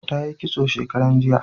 Ta yi kitso shekaran jiya